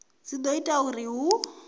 dzi do ita uri hu